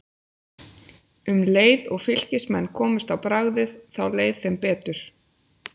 Um leið og Fylkismenn komust á bragðið þá leið þeim betur.